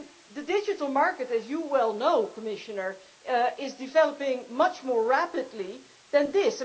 The digital market, as you well know Commissioner, is developing much more rapidly than this.